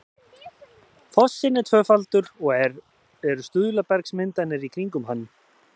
fossinn er tvöfaldur og eru stuðlabergsmyndanir í kringum hann